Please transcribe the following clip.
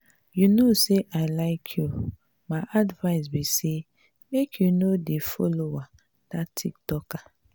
you no say i like you my advice be say make you no dey follower dat tiktoker.